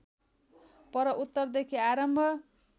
पर उत्तरदेखि आरम्भ